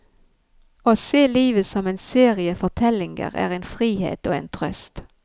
Å se livet som en serie fortellinger er en frihet og en trøst.